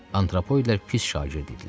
Antropoidlər pis şagird idilər.